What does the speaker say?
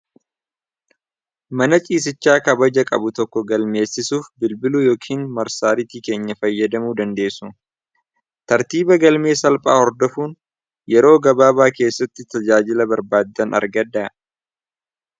mana ciisichaa kabaja qabu tokko galmeessisuuf bilbiluu yookiin marsaaritii keenya fayyadamuu dandeessu tartiiba galmee salphaa hordofuun yeroo gabaabaa keessatti tajaajila barbaaddan argada